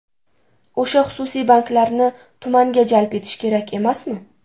O‘sha xususiy banklarni tumanga jalb etish kerak emasmi?